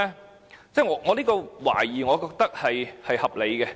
我認為我的懷疑是合理的。